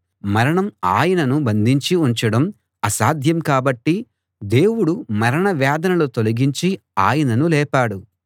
మరణం ఆయనను బంధించి ఉంచడం అసాధ్యం కాబట్టి దేవుడు మరణ వేదనలు తొలగించి ఆయనను లేపాడు